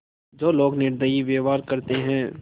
जो लोग निर्दयी व्यवहार करते हैं